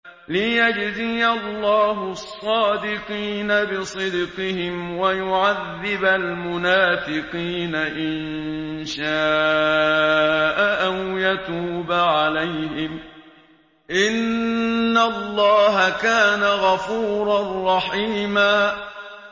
لِّيَجْزِيَ اللَّهُ الصَّادِقِينَ بِصِدْقِهِمْ وَيُعَذِّبَ الْمُنَافِقِينَ إِن شَاءَ أَوْ يَتُوبَ عَلَيْهِمْ ۚ إِنَّ اللَّهَ كَانَ غَفُورًا رَّحِيمًا